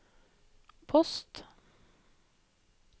post